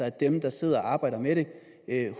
at dem der sidder og arbejder med det